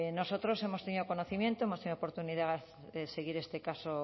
nosotros hemos tenido conocimiento hemos tenido oportunidad de seguir este caso